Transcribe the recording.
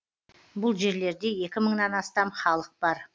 бұл жерлерде екі мыңнан астам халық бар